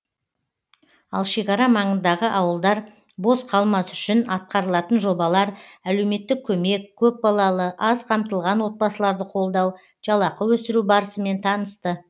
ал шекара маңындағы ауылдар бос қалмас үшін атқарылатын жобалар әлеуметтік көмек көпбалалы аз қамтылған отбасыларды қолдау жалақы өсіру барысымен танысты